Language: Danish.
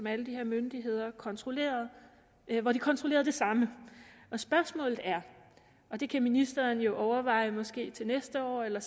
alle de her myndigheder kontrollerede kontrollerede det samme spørgsmålet er og det kan ministeren jo overveje at måske til næste år er der